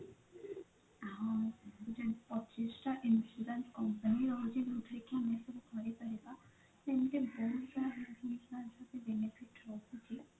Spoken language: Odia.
ହଁ ପଚିଶ ଟା insurance company ରହୁଛି ଯୋଉଥିରେ କି ଆମେ ସବୁ କରିପାରିବା ସେମିତି ବହୁତ ସାରା health insurance ଅଛି benefit ରହୁଛି